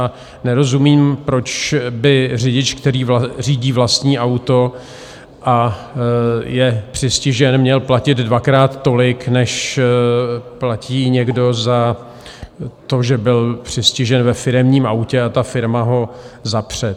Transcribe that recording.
A nerozumím, proč by řidič, který řídí vlastní auto a je přistižen, měl platit dvakrát tolik, než platí někdo za to, že byl přistižen ve firemním autě a ta firma ho zapře.